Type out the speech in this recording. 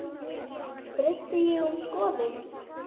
Breytti ég um skoðun?